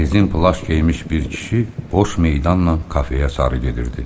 Rezin plaş geymiş bir kişi boş meydanla kafeyə sarı gedirdi.